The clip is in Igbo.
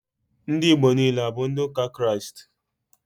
Ndị Igbo niile, abụ ndị ụka Kraịst?